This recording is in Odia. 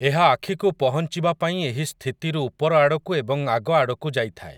ଏହା ଆଖିକୁ ପହଞ୍ଚିବା ପାଇଁ ଏହି ସ୍ଥିତିରୁ ଉପରଆଡ଼କୁ ଏବଂ ଆଗଆଡ଼କୁ ଯାଇଥାଏ ।